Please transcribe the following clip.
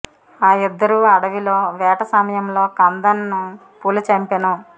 ఆ ఇద్దరు అడవిలో వేట సమయంలో కందన్ ను పులి చంపెను